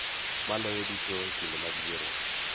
Maloyo duto e kinde mag yiero.